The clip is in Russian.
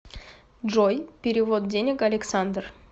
джой перевод денег александр